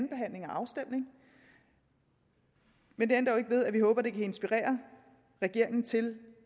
afstemning men det ændrer jo ikke ved at vi håber det kan inspirere regeringen til